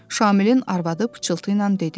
Şamilin arvadı pıçıltıyla dedi.